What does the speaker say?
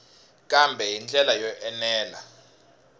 kambe hi ndlela yo enela